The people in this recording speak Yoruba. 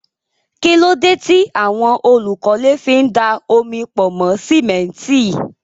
Kí ló dé tí àwọn olùkọ́lé fi ń da omi pọ̀ mọ́ símẹ́ńtì?